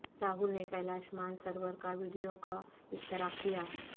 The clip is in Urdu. راہل نے کیلاش مان سروور کا ویڈیو کا اشتراک کیا